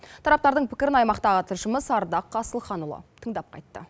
тараптардың пікірін аймақтағы тілшіміз ардақ асылханұлы тыңдап қайтты